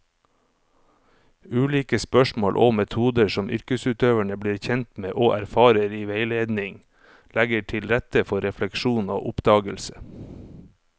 Ulike spørsmål og metoder som yrkesutøverne blir kjent med og erfarer i veiledning, legger til rette for refleksjon og oppdagelse.